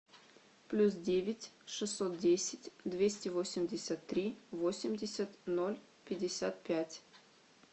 плюс девять шестьсот десять двести восемьдесят три восемьдесят ноль пятьдесят пять